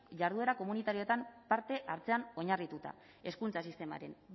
jarduera komunitarioetan parte hartzean oinarrituta hezkuntza sistemaren